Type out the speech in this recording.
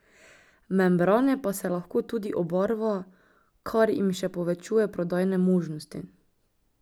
Membrane pa se lahko tudi obarva, kar jim še povečuje prodajne možnosti.